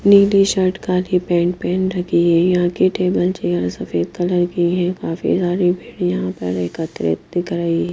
नीली शर्ट काली pant pen रखी है यहां की टेबल चेयर सफेद कलर की है काफी सारी भीड़ यहां पर एकत्रित दिख रही ।